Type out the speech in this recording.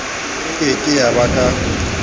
ke ke ya ba ka